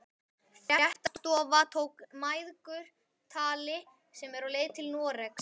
Fréttastofa tók mæðgur tali sem eru á leið til Noregs?